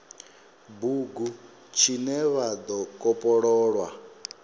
bugu tshine tsha do kopololwa